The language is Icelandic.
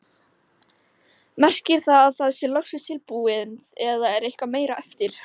Merkir það að það sé loksins tilbúið eða er eitthvað meira eftir?